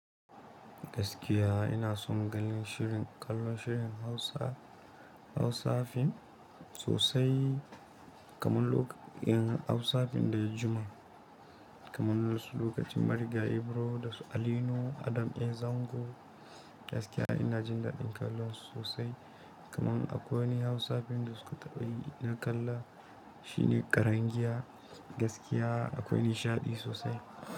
Gaskiya ina son ganin shirin kallon shirin Hausa Hausafim sosai kaman loka in Hausafim da ya jima kaman su lokacin Marigayi Ibro da su Ali nuhu Adam a Zango gaskiya ina jin daɗin kallonsu sosai kaman akwai wani Hausafim da suka taɓa yi ina kalla shine ƙarangiya gaskiya akwai nishaɗi sosai.